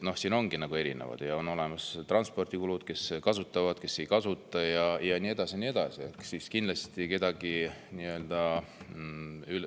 Noh, siin ongi erinevad transpordikulud – kes kasutavad, kes ei kasuta – ja nii edasi.